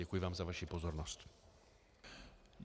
Děkuji vám za vaši pozornost.